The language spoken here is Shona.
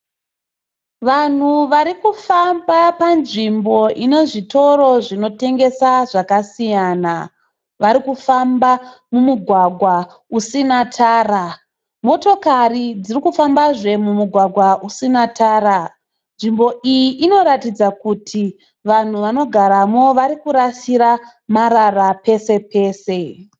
Vanhu varikufamba panzvimbo ine zvitoro zvinotengesa zvakasiyana. Vari kufamba mumugwagwa usina tara. Motokari dzirikufambazve mumugwagwa usina tara. Nzvimbo iyi inoratidza kuti vanhu vanogaramo vari kurasira marara pose pose.